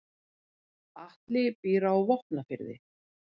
Atli býr á Vopnafirði.